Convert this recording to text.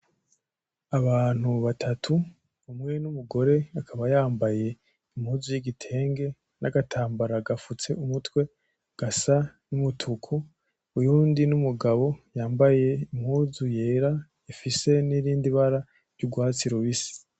Abantu batatu umwe n'umugore akaba yambaye impuzu y'igitenge n'agatambara gafutse umutwe gasa n'umutuku ; uyundi n'umugabo yambaye impuzu yera ifise n'irindi bara ry'ugwatsi rubisi.